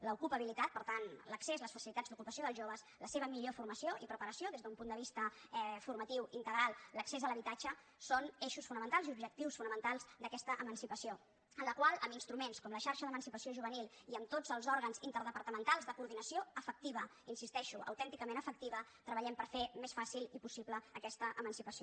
l’ocupabilitat per tant l’accés les facilitats d’ocupació dels joves la seva millor formació i preparació des d’un punt de vista formatiu integral l’accés a l’habitatge són eixos fonamentals i objectius fonamentals d’aquesta emancipació en la qual amb instruments com la xarxa d’emancipació juvenil i amb tots els òrgans interdepartamentals de coordinació efectiva hi insisteixo autènticament efectiva treballem per fer més fàcil i possible aquesta emancipació